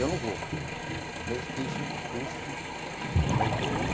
Eu não vou, mesmo que isso me custe sair do